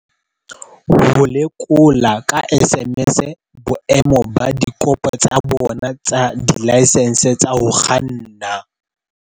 Ho lekola ka SMS boemo ba dikopo tsa bona tsa dilaesense tsa ho kganna.